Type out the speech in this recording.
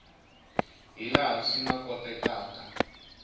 hi laha swi nga kotekaka